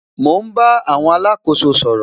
Mo ń bá àwọn alákóso sọ̀rọ̀